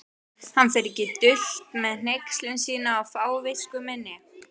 Hann fer ekki dult með hneykslun sína á fávisku minni.